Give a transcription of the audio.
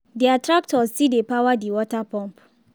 their tractor still dey power the water pump.